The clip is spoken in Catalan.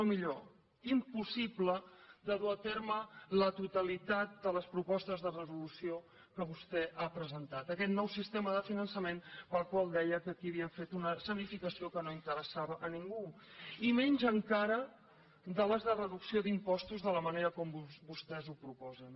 no millor impossible de dur a terme la totalitat de les propostes de resolució que vostè ha presentat aquest nou sistema de finançament pel qual deia que aquí havíem fet una escenificació que no interessava a ningú i menys encara de les de reducció d’impostos de la manera com vostès ho proposen